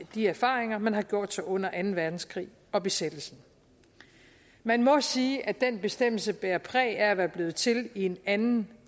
de erfaringer man havde gjort sig under anden verdenskrig og besættelsen man må sige at den bestemmelse bærer præg af at være blevet til i en anden